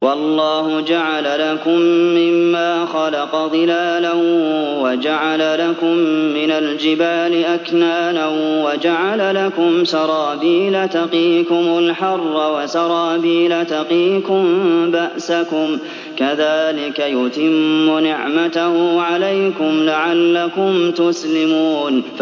وَاللَّهُ جَعَلَ لَكُم مِّمَّا خَلَقَ ظِلَالًا وَجَعَلَ لَكُم مِّنَ الْجِبَالِ أَكْنَانًا وَجَعَلَ لَكُمْ سَرَابِيلَ تَقِيكُمُ الْحَرَّ وَسَرَابِيلَ تَقِيكُم بَأْسَكُمْ ۚ كَذَٰلِكَ يُتِمُّ نِعْمَتَهُ عَلَيْكُمْ لَعَلَّكُمْ تُسْلِمُونَ